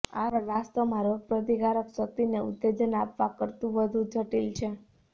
આ સારવાર વાસ્તવમાં રોગપ્રતિકારક શક્તિને ઉત્તેજન આપવા કરતાં વધુ જટિલ છે